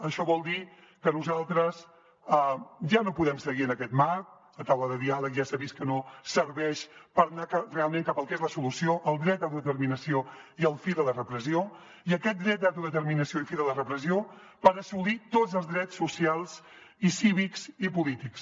això vol dir que nosaltres ja no podem seguir en aquest marc la taula de diàleg ja s’ha vist que no serveix per anar realment cap al que és la solució el dret d’autodeterminació i el fi de la repressió i aquest dret d’autodeterminació i el fi de la repressió per assolir tots els drets socials i cívics i polítics